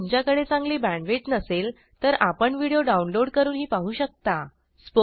जर तुमच्याकडे चांगली बॅण्डविड्थ नसेल तर आपण व्हिडिओ डाउनलोड करूनही पाहू शकता